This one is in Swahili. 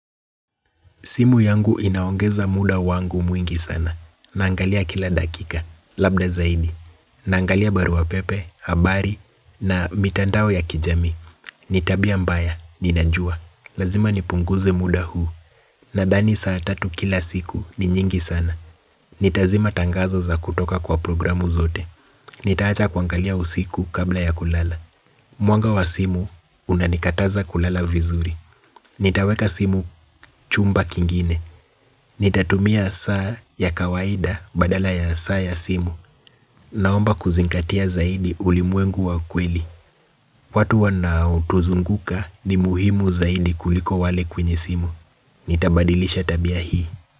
Simu yangu inaongeza muda wangu mwingi sana, naangalia kila dakika, labda zaidi, naangalia barua pepe, habari, na mitandao ya kijami. Ni tabia mbaya, ninajua, lazima nipunguze muda huu, nadhani saat atu kila siku ni nyingi sana. Nitazima tangazo za kutoka kwa programu zote, nitaacha kuangalia usiku kabla ya kulala. Mwanga wa simu, unanikataza kulala vizuri. Nitaweka simu chumba kingine. Nitatumia saa ya kawaida badala ya saa ya simu naomba kuzingatia zaidi ulimwengu wa kweli. Watu wanao tuzunguka ni muhimu zaidi kuliko wale kwenye simu. Nitabadilisha tabia hii.